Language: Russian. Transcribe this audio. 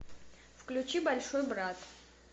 включи большой брат